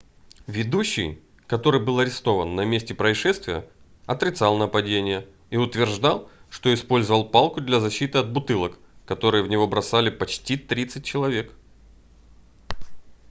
ведущий который был арестован на месте происшествия отрицал нападение и утверждал что использовал палку для защиты от бутылок которые в него бросали почти тридцать человек